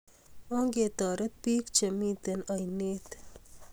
Ongetaret pik che miten ainet